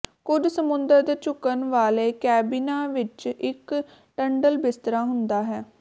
ਕੁਝ ਸਮੁੰਦਰ ਦੇ ਝੁਕਣ ਵਾਲੇ ਕੈਬਿਨਾਂ ਵਿੱਚ ਇੱਕ ਟੰਡਲ ਬਿਸਤਰਾ ਹੁੰਦਾ ਹੈ